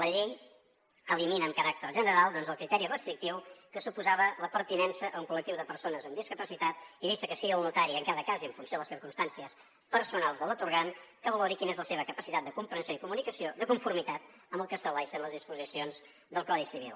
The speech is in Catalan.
la llei elimina amb caràcter general doncs el criteri restrictiu que suposava la pertinença a un col·lectiu de persones amb discapacitat i deixa que sigui el notari en cada cas i en funció de les circumstàncies personals de l’atorgant que valori quina és la seva capacitat de comprensió i comunicació de conformitat amb el que estableixen les disposicions del codi civil